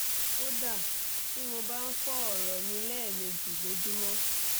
kódà tí mo bá ń fọ́ ọ̀rọ̀ mi lẹ́ẹ̀mejì lójúmọ́